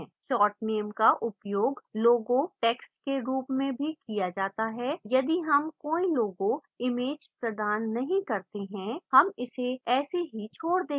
short name का उपयोग logo text के रूप में भी किया जाता है यदि हम कोई logo image प्रदान नहीं करते हैं हम इसे ऐसे ही छोड़ देंगे